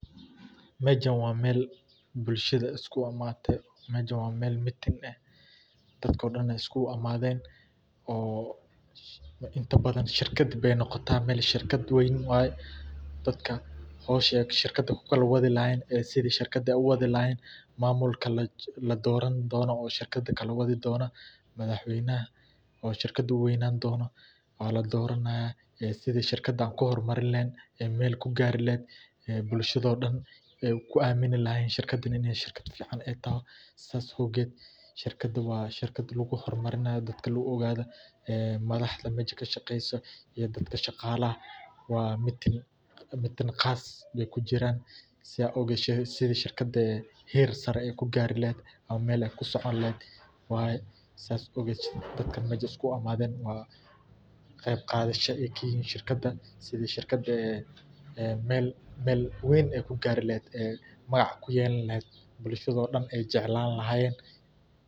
Mejaan waa mel bulshada isku imaate mejaan waa mel meeting eeh dadko dhaana isku imaden oo inta badaan shirkaad beey noqota mel shirkaad weyn waaye. dadka howshey shirkada kuu kalaa waadi lahayeen iyo sidee shirkada uu waadi lahayen mamuulka laa doraani dono oo shirkada kala waadi dono madaxweynaha oo shirkada uu weynan dono waa laa doranaya ee sidi shirkada aan kuu hormariin lehen ee mel kuu gaari lehet bulshada dhaan kuu amini lahaayen shirkadan iiney shirkaad fican eey tahay saas awgeed shirkadaan waa shirkaad laguu hormarinaayo dadka lagu ogado madaxda meshaa kaa shaqeyso iyo dadka shaqalaha waa meeting meeting qaas bey kuu jiiran saa awgeed sidii shirkada ee heer saare eey kuu gaari lehet ama mele kuu socon lehet waye saa awged dadkaan meshan isku imaden waa qeyb qadaasho eykayihin shirkadan sidii shirkadan ee mel mel weyn eyku gaari lehet ee magac eyku yelaani lehet bulshaado dhaan eey jeclaan lahayen.